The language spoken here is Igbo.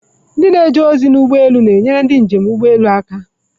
Ndị na-eje ozi ụgbọ elu na-enyere ndị njem n'ụgbọelu aka